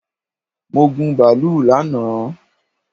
Mo gun bàálù lánàá